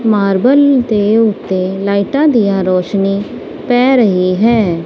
Marble ਦੇ ਉੱਤੇ ਲਾਈਟਾਂ ਦੀਆਂ ਰੌਸ਼ਨੀ ਪੈ ਰਹੀ ਹੈ।